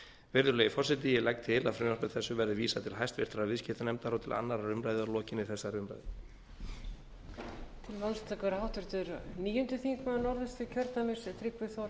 virðulegi forseti ég legg til að frumvarpi þessu verði vísað til háttvirtrar viðskiptanefndar og til annarrar umræðu að lokinni þessari umræðu